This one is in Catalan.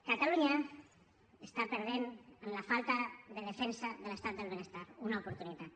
catalunya està perdent en la falta de defensa de l’estat del benestar una oportunitat